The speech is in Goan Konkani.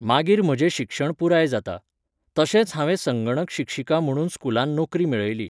मागीर म्हजें शिक्षण पुराय जाता. तशेंच हांवें संंगणक शिक्षिका म्हणून स्कुलान नोकरी मेळयली.